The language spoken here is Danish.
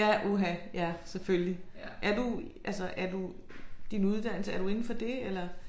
Ja uha ja selvfølgelig. Er du altså er du din uddannelse er du inde for det eller?